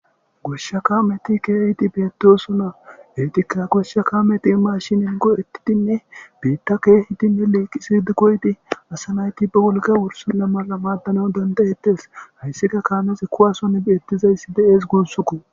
Goshsha kameti keehiti beetoosona hetika goshsha kaameti mashinin go'ettidinne biitta keehitinne leeqisidi koyti asa nayti ba wolka wursilla mala maaddana dandayetes hayssika kaanesikuwason beettizayssi de'ees gussuku